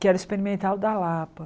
que era o experimental da Lapa.